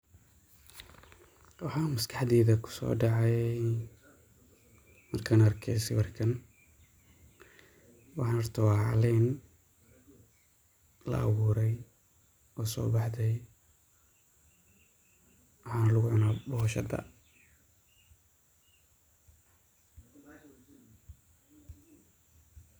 Waxaa maskaxdeyda kusoo dhacay markaan arke sawirkan ,waxan horta waa caleen la awuuray oo soo baxday ,waxaana lagu cunaa boshada .